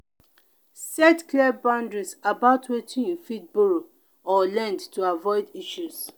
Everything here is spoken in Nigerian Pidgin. set clear boundary about wetin you fit borrow or lend to avoid issues.